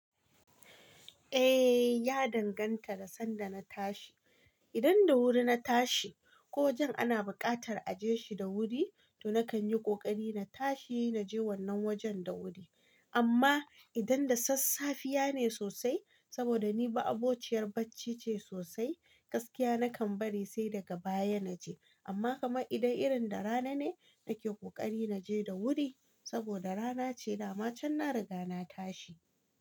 Eh, ya danganta da sanda na tashi. Idan da wuri na tashi ko wajen ana buƙatar a je shi da wuri, to nakan yi ƙoƙari na tashi na je wannan wajen da wuri. Amma idan da sassafane sosai, saboda ni ba ma'abociyar bacci ce sosai, gaskiya nakan bari sai daga baya na je. Amma kamar idan irin da rana ne, nake ƙoƙari na je da wuri, saboda rana ce dama can na riga na tashi.